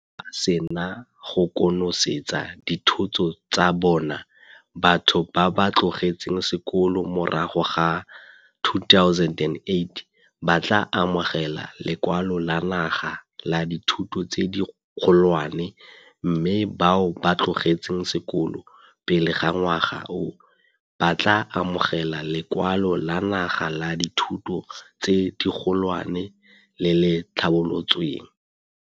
Fa ba sena go konosetsa dithuto tsa bona, batho ba ba tlogetseng sekolo morago ga 2008 ba tla amogela Lekwalo la Naga la Dithuto tse Dikgolwane mme bao ba tlogetseng sekolo pele ga ngwaga oo, ba tla amogela Lekwalo la Naga la Dithuto tse Dikgolwane le le Tlhabolotsweng.